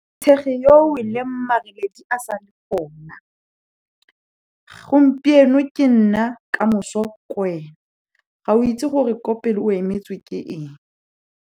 Tshege yo o weleng, mareledi a sa le gona. Gompieno ke nna, kamoso kwena. Ga o itse gore ko pele o emetswe ke eng.